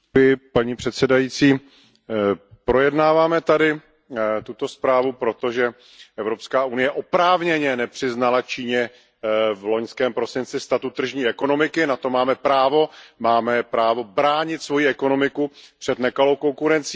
Paní předsedající, projednáváme tady tuto zprávu proto, že Evropská unie oprávněně nepřiznala Číně v loňském prosinci statut tržní ekonomiky, na to máme právo, máme právo bránit svojí ekonomiku před nekalou konkurencí.